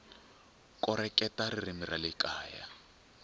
koreketa ririmi ra le kaya